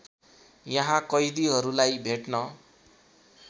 यहाँ कैदीहरूलाई भेट्न